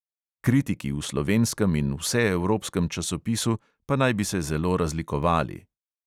Kritiki v slovenskem in vseevropskem časopisu pa naj bi se zelo razlikovali.